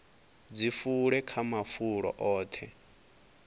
dzi fule kha mafulo oṱhe